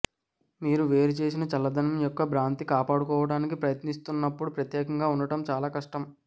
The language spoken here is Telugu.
మీరు వేరుచేసిన చల్లదనం యొక్క భ్రాంతిని కాపాడుకోవటానికి ప్రయత్నిస్తున్నప్పుడు ప్రత్యేకంగా ఉండటం చాలా కష్టం